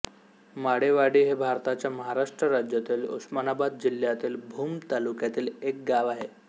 माळेवाडी हे भारताच्या महाराष्ट्र राज्यातील उस्मानाबाद जिल्ह्यातील भूम तालुक्यातील एक गाव आहे